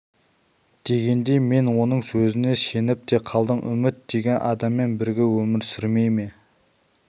дегенде мен оның сөзіне сеніп те қалдым үміт деген адаммен бірге өмір сүрмей ме